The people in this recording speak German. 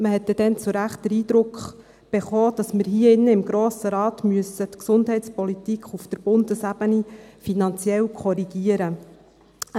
Man erhielt damals zu Recht den Eindruck, dass wir hier im Grossen Rat die Gesundheitspolitik auf Bundesebene finanziell korrigieren müssen.